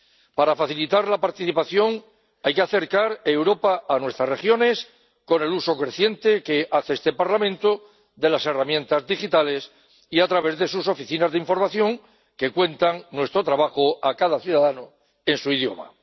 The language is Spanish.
Para facilitar la participación hay que acercar Europa a nuestras regiones con el uso creciente que hace este Parlamento de las herramientas digitales y a través de sus oficinas de información que cuentan nuestro trabajo a cada ciudadano en su idioma.